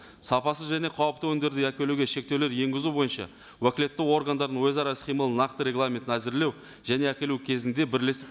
сапасыз және қауіпті өнімдерді әкелуге шектеулер енгізу бойынша уәкілетті органдардың өзара іс қимылын нақты регламентін әзірлеу және әкелу кезінде бірлесіп